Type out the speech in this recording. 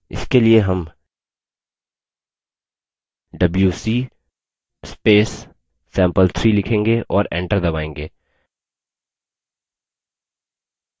इसके लिए हम wc sample3 लिखेंगे और enter दबायेंगे